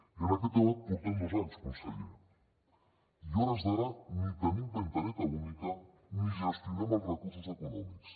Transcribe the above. i en aquest debat portem dos anys conseller i a hores d’ara ni tenim finestreta única ni gestionem els recursos econòmics